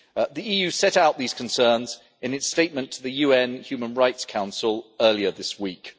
The EU set out these concerns in its statement to the UN Human Rights Council earlier this week.